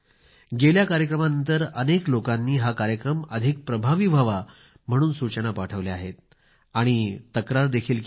गेल्या कार्यक्रमानंतर अनेक लोकांनी हा कार्यक्रम अधिक प्रभावी व्हावा म्हणून सूचना पाठवल्या आहेत आणि तक्रार देखील केली आहे